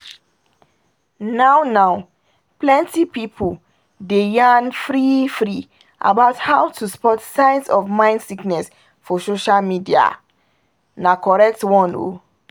now now plenty pipul dey yarn free-free about how to spot signs of mind sickness for social media na correct one oh